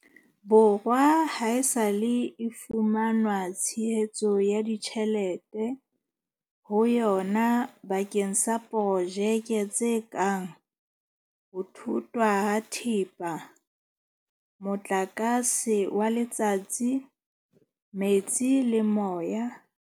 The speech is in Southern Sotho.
Borwa haesale e fumana tshehetso ya ditjhe lete ho yona bakeng sa projeke tse kang ho thothwa ha thepa, motlakase wa letsatsi, metsi le moya, tshireletso ya tikoloho, dibopeho tsa motheo tsa metsi mmoho le ho fokotsa kgase tse silafatsang moya.